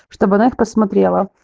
чтобы она их посмотрела